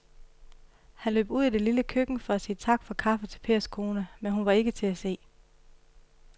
Han løb ud i det lille køkken for at sige tak for kaffe til Pers kone, men hun var ikke til at se.